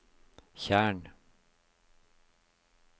tjern